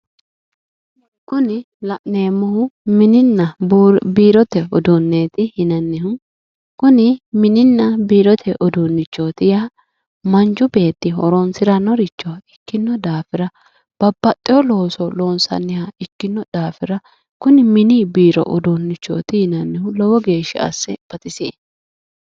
Kuni la'neemmohu mininna biirote uduuneti yinnannihu kuni mininna biirote uduunichoti yaa manchu beetti horonsiranorichoti ikkino daafira babbaxeyo looso loonsanniha ikkino daafira kuni mini biiro uduunichoti yinnannihu lowo geeshsha asse baxisie